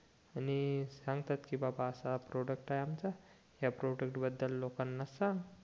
आणि सांगतात कि बाबा असा प्रॉडक्ट आहे आमचा ह्या प्रॉडक्ट्स बद्दल लोकांना सांग